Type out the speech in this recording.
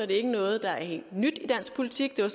det ikke noget der er helt nyt i dansk politik det var